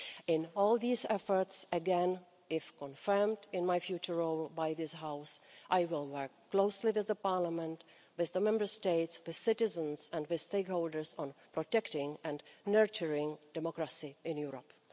In all these efforts again, if confirmed in my future role by this House I will work closely with Parliament, with the Member States, with citizens and with stakeholders on protecting and nurturing democracy in Europe.